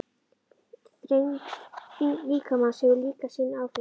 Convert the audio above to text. Þyngd líkamans hefur líka sín áhrif.